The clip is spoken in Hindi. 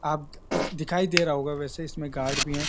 आप्त दिखाई दे रहा होगा वैसे इसमें गार्ड भी है।